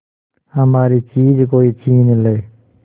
हमारी चीज कोई छीन ले